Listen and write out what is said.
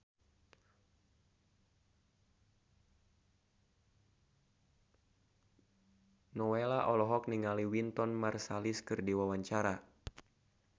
Nowela olohok ningali Wynton Marsalis keur diwawancara